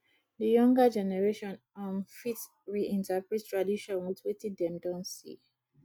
di younger generation um fit reinterprete tradition with wetin dem don see